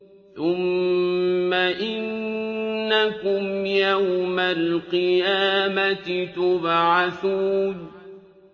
ثُمَّ إِنَّكُمْ يَوْمَ الْقِيَامَةِ تُبْعَثُونَ